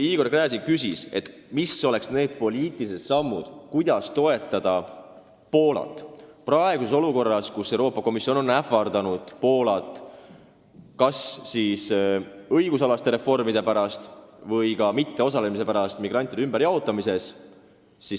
Igor Gräzin küsis, milliste poliitiliste sammudega me saaksime toetada Poolat praeguses olukorras, kus Euroopa Komisjon on ähvardanud Poolat tema õigusalaste reformide pärast ja ka mitteosalemise pärast migrantide ümberjaotamises.